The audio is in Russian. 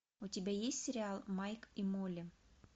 у тебя есть сериал майк и молли